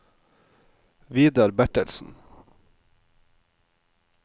Vidar Bertelsen